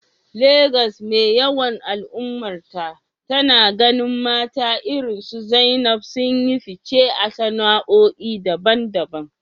Legas mai yawan al’ummarta, tana ganin mata irinsu Zainab sun yi fice a sana’o’i daban-daban.